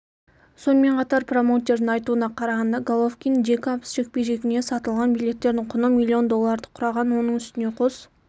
сонымен қатар промоутердің айтуына қарағанда головкин-джейкобс жекпе-жегіне сатылған билеттердің құны миллион долларды құраған оның үстіне қос